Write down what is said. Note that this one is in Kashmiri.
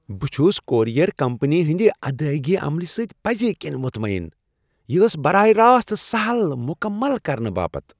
بہٕ چُھس کورئیر کمپنی ہنٛدِ ادائیگی عملہٕ سۭتۍ پزۍ کِنۍ مطمین۔ یہِ ٲس براہ راست سہل مُكمل كرنہٕ باپت ۔